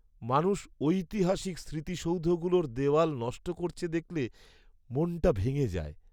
মানুষ ঐতিহাসিক স্মৃতিসৌধগুলোর দেওয়াল নষ্ট করেছে দেখলে মনটা ভেঙে যায়।